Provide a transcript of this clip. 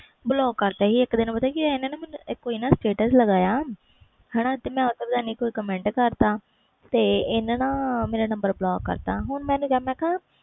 block ਕਰਤਾ ਸੀ ਇਕ ਦਿਨ ਪਤਾ ਕਿ ਹੋਇਆ status ਲਗਾਇਆ ਪਤਾ ਕਿ ਹੋਇਆ ਕੋਈ comment ਕਰਤਾ ਤੇ ਇਹਨੇ ਨਾ ਮੇਰਾ ਨੰਬਰ block ਕਰਤਾ ਹੁਣ ਮੈਂ ਕਿਹਾ